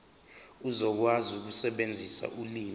uzokwazi ukusebenzisa ulimi